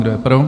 Kdo je pro?